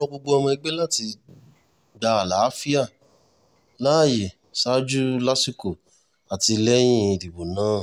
ó rọ gbogbo ọmọ ẹgbẹ́ láti gba àlàáfíà láàyè ṣáájú lásìkò àti lẹ́yìn ìdìbò náà